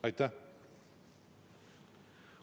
Aitäh!